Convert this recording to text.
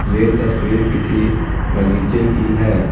ये तस्वीर किसी बगीचे की है।